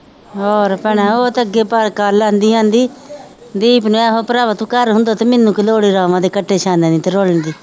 ਹੋਰ ਭੈਣਾ ਉਹ ਤਾਂ ਅੱਗੇ ਪਰ ਕੱਲ੍ਹ ਕਹਿੰਦੀ ਕਹਿੰਦੀ ਦੀਪ ਨੇ ਆਹੋ ਭਰਾਵਾ ਤੂੰ ਘਰ ਹੁੰਦਾ ਤੇ ਮੈਨੂੰ ਕੀ ਲੋੜ ਰਾਵਾਂ ਦੇ ਕੱਟੇ ਛਾਨਣ ਦੀ ਤੇ ਰੋਲਣ ਦੀ।